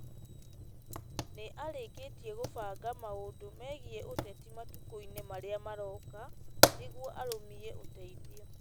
Nĩ arĩkĩtie kũbanga maũndũ mĩgiĩ ũteti matukũinĩ marĩa maroka, nĩguo arũmie ũteithio.